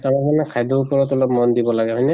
তাৰ মানে খাদ্য়ৰ উপৰত অলপ মন দিব লাগে, হয়্নে?